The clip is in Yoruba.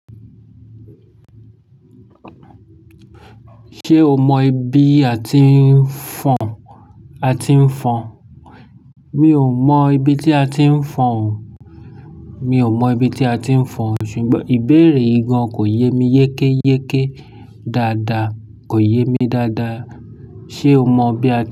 Ṣé o mọ ibi a ti ń fọn, a ti ń fọn? Mi ò mọ ibi tí a ti ń fọn o. Mi ò mọ ibi tí a ti ń fọn o ṣùgbọ́n ìbéèrè yìgan kò yé mi yékéyéké dáadáa, kò yé mi dáadáa. Ṣé o mọ ibi a ti.